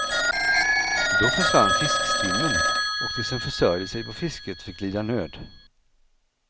Då försvann fiskstimmen, och de som försörjde sig på fisket fick lida nöd.